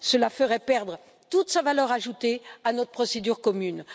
cela ferait perdre toute sa valeur ajoutée à notre procédure commune.